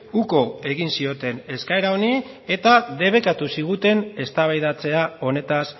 uko egin zioten eskaera honi eta debekatu ziguten eztabaidatzea honetaz